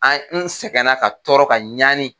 An n sɛgɛn na ka tɔɔrɔ ka ɲaani.